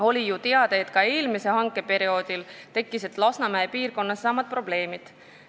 Oli ju teada, et ka eelmisel hankeperioodil tekkisid Lasnamäe piirkonnas samad probleemid.